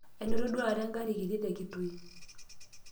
ainoto duo taata engarri kiti te Kitui